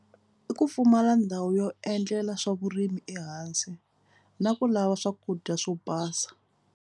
I ku pfumala ndhawu yo endlela swa vurimi ehansi na ku lava swakudya swo basa.